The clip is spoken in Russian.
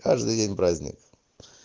каждый день праздник